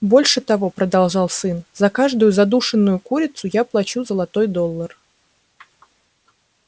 больше того продолжал сын за каждую задушенную курицу я плачу золотой доллар